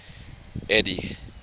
eddie